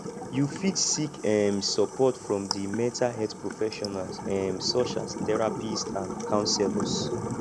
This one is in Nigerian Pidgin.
you fit seek um support from di mental health professionals um such as therapists and counselors